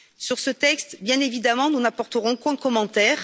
Sur ce texte, bien évidemment, nous n'apporterons aucun commentaire.